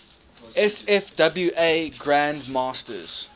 sfwa grand masters